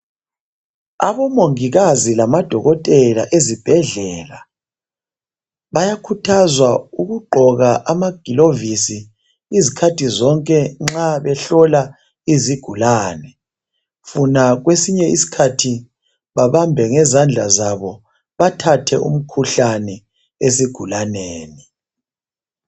abomongikazi lamadokotela ezibhedlela bayakhuthazwa ukugqoka amagilovisi izikhathi zonke nxa behlola izigulane funa kwesinye isikhathi babambe ngezandla zabo bathathe umkhuhlane esigulaneni